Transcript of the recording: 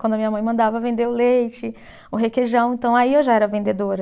Quando a minha mãe mandava vender o leite, o requeijão, então aí eu já era vendedora.